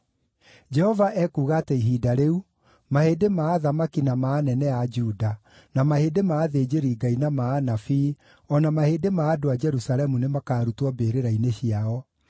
“ ‘Jehova ekuuga atĩ ihinda rĩu, mahĩndĩ ma athamaki na ma anene a Juda, na mahĩndĩ ma athĩnjĩri-Ngai na ma anabii, o na mahĩndĩ ma andũ a Jerusalemu nĩmakarutwo mbĩrĩra-inĩ ciao.